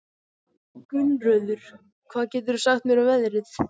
Gunnröður, hvað geturðu sagt mér um veðrið?